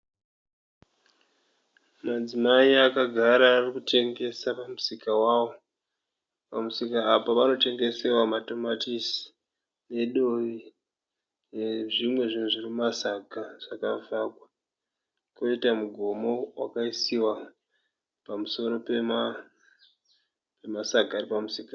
Madzimai akagara arikutengesa pamusika wavo. Pamusika apa panotengesewa matomatisi nedovi nezvimwe zvinhu zviri mumasaga zvakavhagwa. Poita mugomo wakaisiwa pamusoro pemasaga aripamusika.